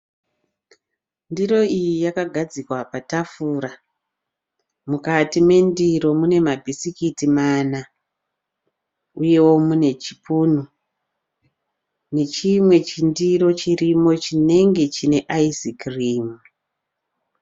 Ndiro iyi yakagadzikwa patafura. Mukati mendiro mune mabhisikitsi mana uyewo mune chipunu nechimwe chindiro chirimo chinenge chine aisikirimu.